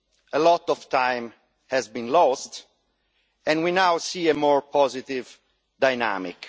A lot of time has been lost, and we now see a more positive dynamic.